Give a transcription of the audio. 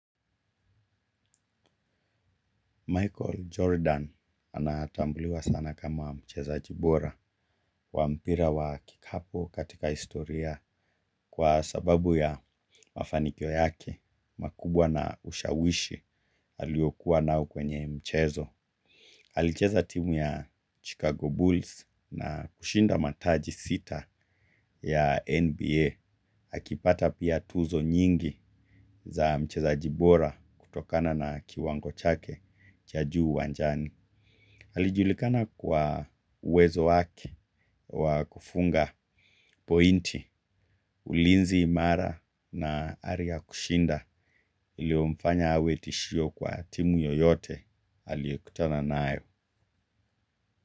Michael Jordan anatambuliwa sana kama mcheza jibora wampira wa kikapo katika istoria kwa sababu ya mafanikyo yake makubwa na ushawishi aliokuwa nao kwenye mchezo alicheza timu ya Chicago Bulls na kushinda mataji sita ya NBA akipata pia tuzo nyingi za mcheza jibora kutokana na kiwango chake cha juu uwanjani. Halijulikana kwa uwezo waki wa kufunga pointi ulinzi imara na hari ya kushinda iliomfanya awe tishio kwa timu yoyote aliokutana nayo.